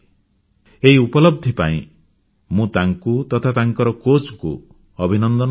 ଏହି ଉପଲବ୍ଧି ପାଇଁ ମୁଁ ତାଙ୍କୁ ତଥା ତାଙ୍କର କୋଚ୍ ଙ୍କୁ ଅଭିନନ୍ଦନ ଜଣାଉଛି